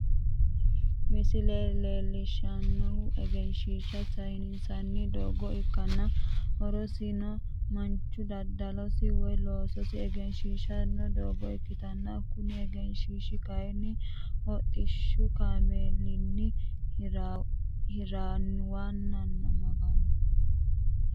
Misile leelishanohu egenshiisha sayinsanni doogo ikkanna horosino Manu dadalosi woyi loososi egensiisano doogo ikitanna kunni egenshiishi kayinni hodhishu kaameella hiraniwa kulanoho.